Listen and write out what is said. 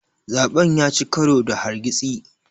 zaɓen ya ci karo da hargitsi